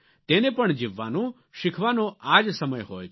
તેને પણ જીવવાનો શીખવાનો આ જ સમય હોય છે